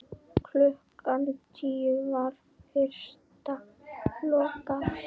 Klukkan tíu var vistum lokað.